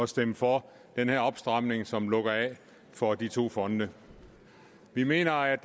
stemme for den her opstramning som lukker af for de to fonde vi mener